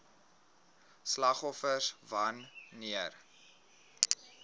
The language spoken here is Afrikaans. slagoffers wan neer